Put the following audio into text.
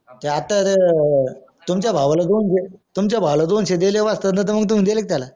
त्या आता र तुमच्या भावाला दोनशे दिले वस्तादने तर तुम्ही दिले का त्याला